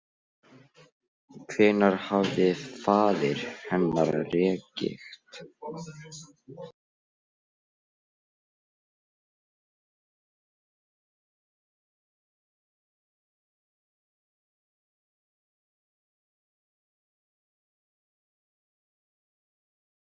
Ég endaði á því að sparka henni upp.